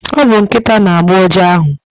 Ọ bu Nkịta na agbo uja ahụ